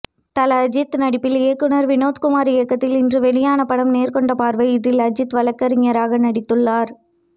தல அஜித் நடிப்பில் இயக்குனர் வினோத் இயக்கத்தில் இன்று வெளியான படம் நேர்கொண்ட பார்வை இதில் அஜித் வழக்கறிஞராக நடித்துள்ளார்